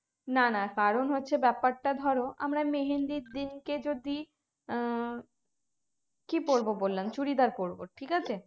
না না কারণ হচ্ছে ব্যাপারটা ধরো আমরা মেহেন্দির দিনকে যদি আহ কি পরবো বললাম চুড়িদার পরবো ঠিক আছে